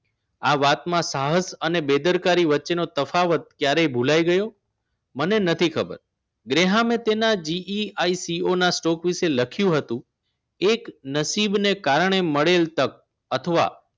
આ વાતમાં સાહસ અને બેદરકારી વચ્ચેનો તફાવત ક્યારે ભુલાઈ ગયો મને નથી ખબર ગ્રેહામે તેના GIECOstock વિશે લખ્યું હતું એક નસીબને કારણે મળેલ તક અથવા